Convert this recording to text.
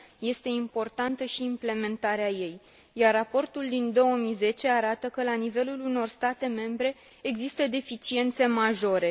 Este importantă și implementarea ei, iar raportul din 2010 arată că, la nivelul unor state membre, există deficiențe majore.